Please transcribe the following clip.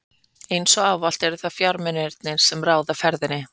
Eins og ávallt eru það fjármunirnir, sem ráða ferðinni.